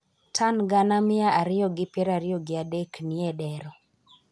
Tan gana mia ariyo gi piero ariyo gi adek nie dero,